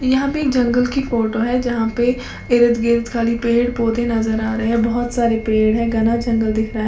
यहाँ पे एक जंगल की फोटो है यहां पे इर्द गिर्द खाली पेड़ पौधे नजर आ रहे हैं बहुत सारे पेड़ है घना जंगल दिख रहा है।